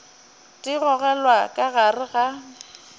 di gogelwa ka gare ga